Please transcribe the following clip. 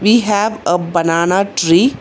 We have a banana tree.